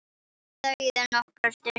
Þeir þögðu nokkra stund.